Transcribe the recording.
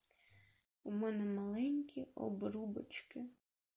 умный маленький обручки